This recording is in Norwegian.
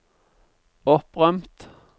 opprømt